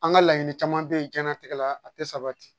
An ka laɲini caman bɛ yen diɲɛnatigɛ la a tɛ sabati